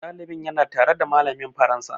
Ɗalibin ya na tare da malamin faransa